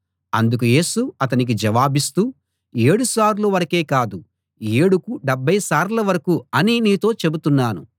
అందుకు యేసు అతనికి జవాబిస్తూ ఏడు సార్లు వరకే కాదు ఏడుకు డెబ్భై సార్ల వరకూ అని నీతో చెబుతున్నాను